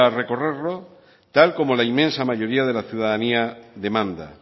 recorrerlo tal y como la inmensa mayoría de la ciudadanía demanda